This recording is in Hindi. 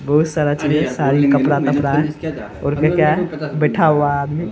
बहुत सारा चीज़ साड़ी कपड़ा-तपड़ा है और भी क्या है बैठा हुआ है आदमी --